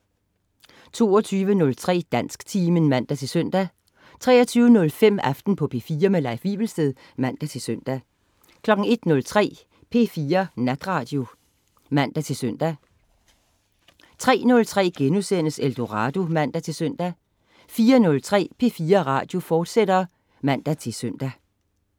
22.03 Dansktimen (man-søn) 23.05 Aften på P4. Leif Wivelsted (man-søn) 01.03 P4 Natradio (man-søn) 03.03 Eldorado* (man-søn) 04.03 P4 Natradio, fortsat (man-søn)